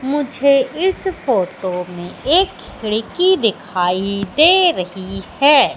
मुझे इस फोटो में एक खिड़की दिखाई दे रहीं हैं।